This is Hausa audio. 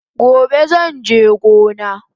Gobe zanje gona